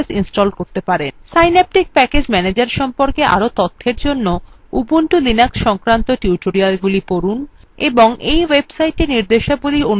ubuntu linux সংক্রান্ত টিউটোরিয়ালগুলি পড়ুন এবং এই websiteএর নির্দেশাবলী অনুসরণ করে libreoffice সংকলন download করুন